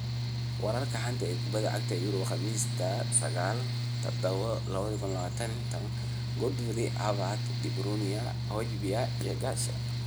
Wararka xanta kubada cagta Yurub Khamiis 09.07.2020: Godfrey, Havertz, De Bruyne, Hojbjerg, Garcia